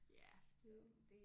Ja det